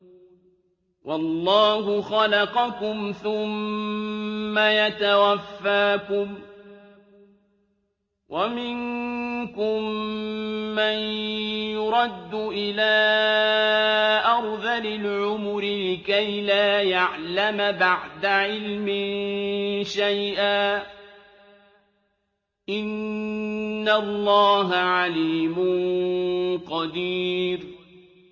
وَاللَّهُ خَلَقَكُمْ ثُمَّ يَتَوَفَّاكُمْ ۚ وَمِنكُم مَّن يُرَدُّ إِلَىٰ أَرْذَلِ الْعُمُرِ لِكَيْ لَا يَعْلَمَ بَعْدَ عِلْمٍ شَيْئًا ۚ إِنَّ اللَّهَ عَلِيمٌ قَدِيرٌ